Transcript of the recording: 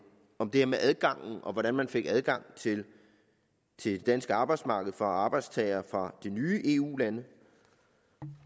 om det med adgangen og hvordan man fik adgang til det danske arbejdsmarked for arbejdstagere fra de nye eu lande